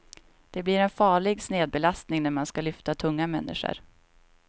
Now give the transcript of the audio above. Det blir en farlig snedbelastning när man ska lyfta tunga människor.